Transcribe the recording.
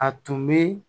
A tun bɛ